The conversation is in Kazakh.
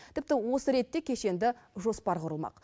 тіпті осы ретте кешенді жоспар құрылмақ